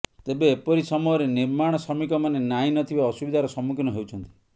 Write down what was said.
ତେବେ ଏପରି ସମୟରେ ନିର୍ମାଣ ଶ୍ରମିକମାନେ ନାହିଁ ନ ଥିବା ଅସୁବିଧାର ସମ୍ମୁଖୀନ ହେଉଛନ୍ତି